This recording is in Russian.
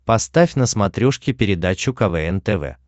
поставь на смотрешке передачу квн тв